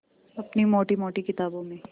अपनी मोटी मोटी किताबों में